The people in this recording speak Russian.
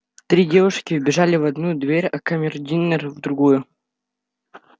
три девушки вбежали в одну дверь а камердинер в другую